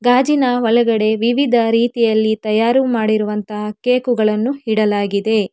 ಗಾಜಿನ ಒಳಗಡೆ ವಿವಿಧ ರೀತಿಯಲ್ಲಿ ತಯಾರು ಮಾಡಿರುವಂತಹ ಕೇಕುಗಳನ್ನು ಇಡಲಾಗಿದೆ.